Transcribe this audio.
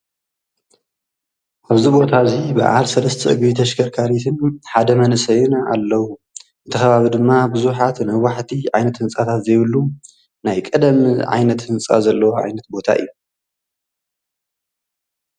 ኣብዚ ቦታ እዙይ ብዓል ሰለስተ እግሪ ተሽከርካሪትን ሓደ መንእሰይን ኣለዉ እቲ ኸባቢ ድማ ብዙሓት ነዋሕቲ ዓይነት ህንጻታት ዘይብሉ ናይ ቐደም ዓይነት ህንጻ ዘለዎ ዓይነት ቦታ እዩ